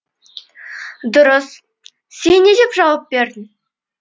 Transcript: дұрыс сен не деп жауап бердің